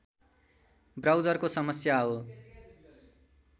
ब्राउजरको समस्या हो